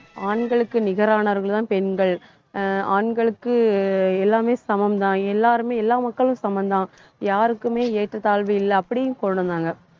ஆண்களுக்கு நிகரானவர்கள்தான் பெண்கள் ஆஹ் ஆண்களுக்கு எல்லாமே சமம்தான். எல்லாருமே எல்லா மக்களும் சமம்தான். யாருக்குமே ஏற்றத்தாழ்வு இல்லை அப்படியும் கொண்டு வந்தாங்க